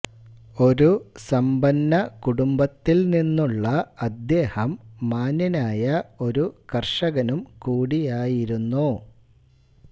ഒരു സമ്പന്ന കുടുംബത്തിൽ നിന്നുള്ള അദ്ദേഹം മാന്യനായ ഒരു കർഷകനുംകൂടിയായിരുന്നു